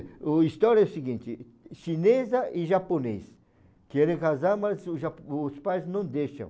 O história é o seguinte, chinesa e japonês querem casar, mas o jap, os pais não deixam.